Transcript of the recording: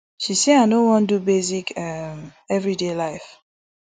she say i no wan do basic um evriday life